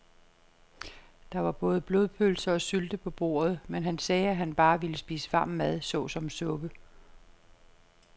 Der var både blodpølse og sylte på bordet, men han sagde, at han bare ville spise varm mad såsom suppe.